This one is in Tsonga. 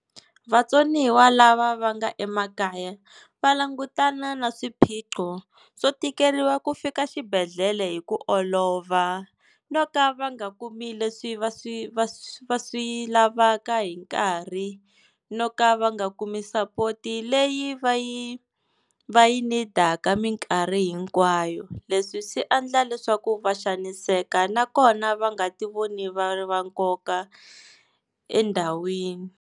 Vatsoniwa lava va nga emakaya va langutana na swiphiqo swo tikeriwa ku fika xibedhlele hi ku olova, no ka va nga kumi leswi va swi va swi lavaka hi nkarhi, no ka va nga kumi sapoti leyi va yi va yi need-aka minkarhi hinkwayo. Leswi swi endla leswaku va xaniseka nakona va nga ti voni va ri va nkoka endhawini.